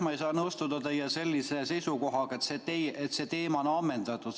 Ma ei saa nõustuda teie sellise seisukohaga, et see teema on ammendatud.